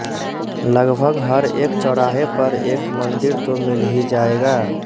लगभग हर एक चौराहे पर एक मंदिर तो मिल ही जायेगा